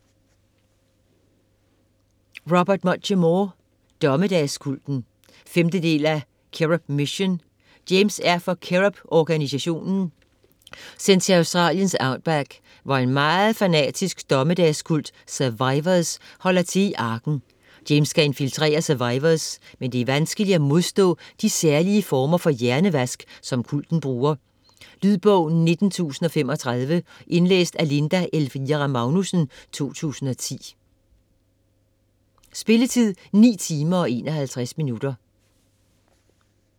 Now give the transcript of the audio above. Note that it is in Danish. Muchamore, Robert: Dommedagskulten 5. del af Cherub Mission. James er for CHERUB-organisationen sendt til Australiens outback, hvor en meget fanatisk dommedagskult, Survivors, holder til i Arken. James skal infiltrere Survivors men det er vanskeligt at modstå de særlige former for hjernevask som kulten bruger. Lydbog 19035 Indlæst af Linda Elvira Magnussen, 2010. Spilletid: 9 timer, 51 minutter.